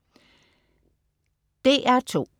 DR2: